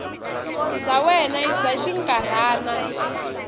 bya wena i bya xinkarhana